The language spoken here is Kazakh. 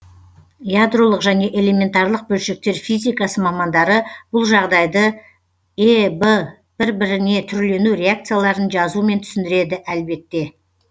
ядролық және элементарлық бөлшектер физикасы мамандары бұл жағдайды эб бір біріне түрлену реакцияларын жазумен түсіндіреді әлбетте